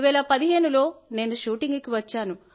2015 లో నేను షూటింగ్ కి వచ్చాను